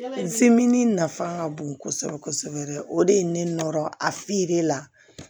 nafa ka bon kosɛbɛ kosɛbɛ o de ye ne nɔrɔ a la